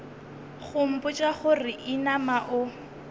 go mpotša gore inama o